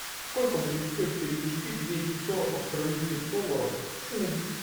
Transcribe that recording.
сколько будет стоить перевести двести сорок австралийских долларов в фунт